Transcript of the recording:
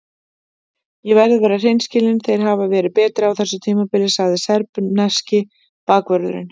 Ég verð að vera hreinskilinn- þeir hafa verið betri á þessu tímabili, sagði serbneski bakvörðurinn.